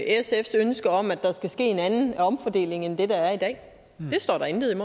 sfs ønske om at der skal ske en anden omfordeling end den der er i dag det står der intet om